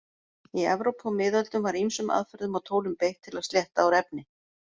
Í Evrópu á miðöldum var ýmsum aðferðum og tólum beitt til að slétta úr efni.